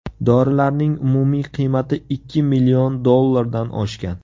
Dorilarning umumiy qiymati ikki million dollardan oshgan.